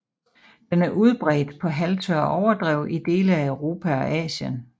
Den er udbredt på halvtørre overdrev i dele af Europa og Asien